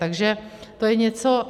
Takže to je něco...